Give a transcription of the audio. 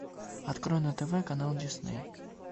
открой на тв канал дисней